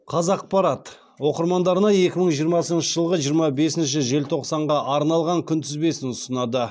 қазақпарат оқырмандарына екі мың жиырмасыншы жылғы жиырма бесінші желтоқсанға арналған күнтізбесін ұсынады